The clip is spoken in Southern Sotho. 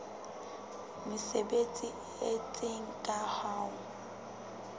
mesebetsi e itseng ka ho